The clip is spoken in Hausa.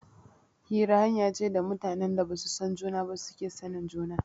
Hira hanya ce da mutanen da ba su san juna ba suke sanin juna.